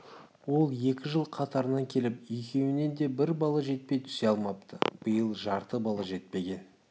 ол екі жыл қатарынан келіп екеуінде де бір балы жетпей түсе алмапты биыл жарты балы жетпеген